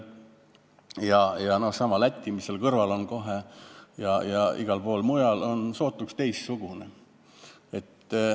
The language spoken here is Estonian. Sealsamas Lätis, mis on kohe kõrval, ja igal pool mujal on piir sootuks teistsugune.